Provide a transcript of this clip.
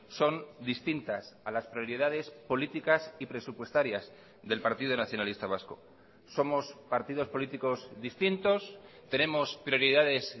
son distintas a las prioridades políticas y presupuestarias del partido nacionalista vasco somos partidos políticos distintos tenemos prioridades